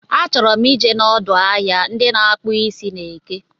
Achọrọ m ije n'ọdụ ahịa ndị na-akpụ isi n'eke